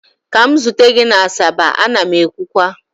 ka m zute gi na asaba, a na m ekwukwa!